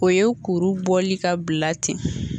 O ye kuru bɔli ka bila ten